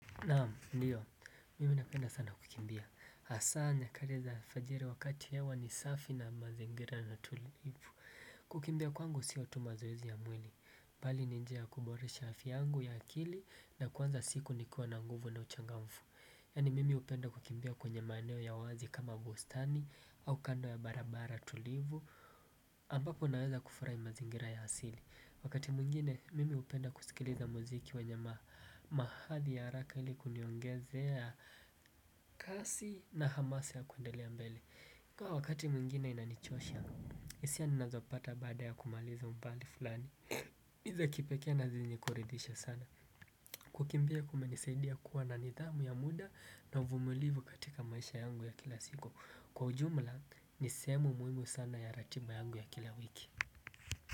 Naam, ndio, mimi napenda sana kukimbia. Hasa, nyakati za alfajiri wakati hewa ni safi na mazingira ni tulivu. Kukimbia kwangu sio tu mazoezi ya mwili. Bali ni njia ya kuboresha afya yangu ya akili na kuanza siku nikiwa na nguvu na uchangamfu. Yaani mimi hupenda kukimbia kwenye maeneo ya wazi kama bustani au kando ya barabara tulivu. Ambapo naweza kufurahi mazingira ya asili. Wakati mwingine mimi hupenda kusikiliza muziki wenye mahathi ya haraka ili kuniongezea kasi na hamasa ya kuendelea mbele. Kaa wakati mwingine inanichosha hisia ninazopata baada ya kumaliza umbali fulani ni za kipekee na zenye kuridhisha sana. Kukimbia kumenisaidia kuwa na nidhamu ya muda na uvumulivu katika maisha yangu ya kila siku. Kwa ujumla ni sehemu muhimu sana ya ratiba yangu ya kila wiki.